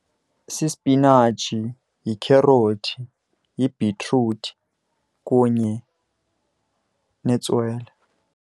Sispinatshi, yikherothi, yibhitruthi, kunye netswele.